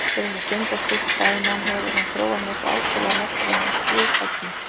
Til þess að stunda slíkt fæðunám hefur hann þróað með sér ákaflega merkilega flughæfni.